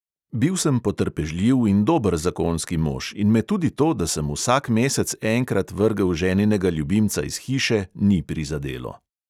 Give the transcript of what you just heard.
Bil sem potrpežljiv in dober zakonski mož in me tudi to, da sem vsak mesec enkrat vrgel ženinega ljubimca iz hiše, ni prizadelo.